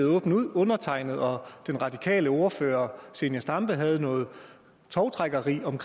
åbent ud undertegnede og den radikale ordfører zenia stampe havde noget tovtrækkeri om